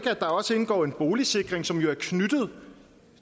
at der også indgår en boligsikring som jo er knyttet